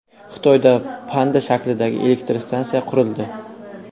Xitoyda panda shaklidagi elektrostansiya qurildi .